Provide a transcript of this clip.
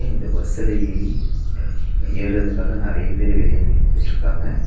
இந்த பஸ்சுல ஏறி ஏற்றதுக்காக நெறைய பேர் வெளிய நின்னுகிட்ருக்காங்க.